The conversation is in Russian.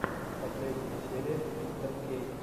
последняя серия мистеркей